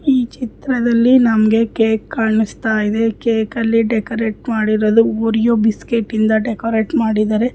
ಈ ಚಿತ್ರದಲ್ಲಿ ನಮಗೆ ಕೇಕ್ ಕಾಣಿಸ್ತಾ ಇದೆ ಕೇಕು ಅಲ್ಲಿ ಡೆಕೊರತೆ ಮಾಡಿರಲು ಓರಿಯೋ ಬಿಸ್ಕಟ್ಯಿಂದ ಡೆಕೋರಟ್ ಮಾಡಿದ್ದಾರೆ.